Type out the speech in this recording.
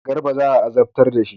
Garba za a azabtar da shi.